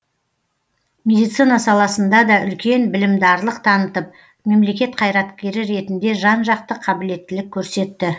медицина саласында да үлкен білімдарлық танытып мемлекет қайраткері ретінде жан жақты қабілеттілік көрсетті